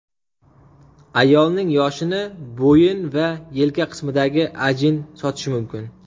Ayolning yoshini bo‘yin va yelka qismidagi ajinlar sotishi mumkin.